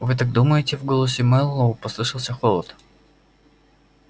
вы так думаете в голосе мэллоу послышался холод